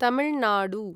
Tamil Nadu